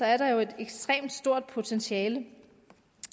er der jo et ekstremt stort potentiale